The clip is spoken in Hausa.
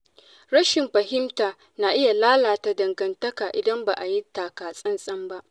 Rashin fahimta na iya lalata dangantaka idan ba a yi taka tsantsan ba.